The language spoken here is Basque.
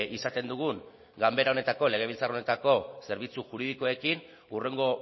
izaten dugun ganbera honetako legebiltzar honetako zerbitzu juridikoekin hurrengo